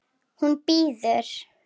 Hún bíður!